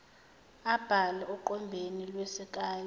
abhale oqwembeni lwesikali